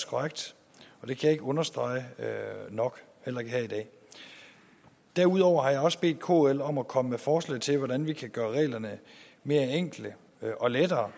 korrekt og det kan ikke understreges nok heller ikke her i dag derudover har jeg også bedt kl om at komme med forslag til hvordan vi kan gøre reglerne mere enkle og lettere